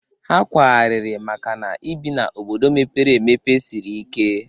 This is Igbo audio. Ha kwaghariri maka na ịbi ndụ n'obodo mepere emepe sịrị ike